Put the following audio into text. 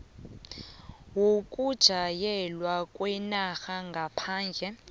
yokujanyelwa kwenarha ngaphandle